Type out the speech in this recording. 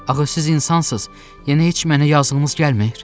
Axı siz insansız, yəni heç mənə yazığınız gəlmir?